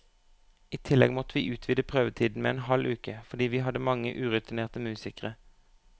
I tillegg måtte vi utvide prøvetiden med en halv uke, fordi vi hadde mange urutinerte musikere.